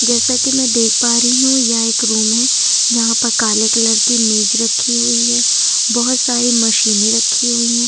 जैसा कि मैं देख पा रही हूं यह एक रूम है जहां पर काले कलर की मेज रखी हुई है। बहोत सारी मशीनें रखी हुई हैं।